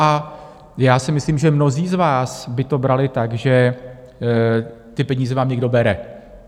A já si myslím, že mnozí z vás by to brali tak, že ty peníze vám někdo bere.